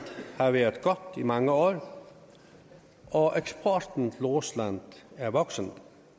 har været godt i mange år og eksporten til rusland er vokset